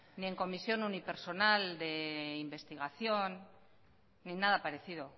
ni en comisión unipersonal de investigación ni en nada parecido